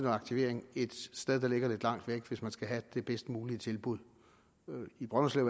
aktivering et sted der ligger lidt langt væk hvis de skal have det bedst mulige tilbud i brønderslev